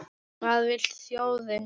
Hvað vill þjóðin?